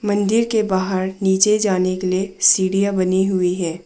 मंदिर के बाहर नीचे जाने के लिए सीढ़ियां बनी हुई हैं।